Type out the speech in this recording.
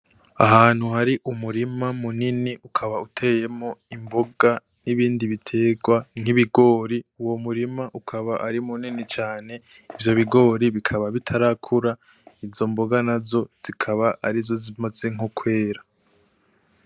Ahantu hari umurima munini ukaba uteyemwo imboga nibindi biterwa nkibigori uwo murima ukaba ari munini cane ivyo bigori bikaba bitarakura izo mboga nazo zikaba arizo zimaze nko kwera.